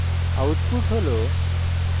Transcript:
output হল